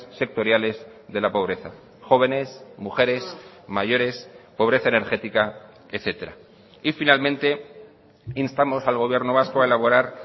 sectoriales de la pobreza jóvenes mujeres mayores pobreza energética etcétera y finalmente instamos al gobierno vasco a elaborar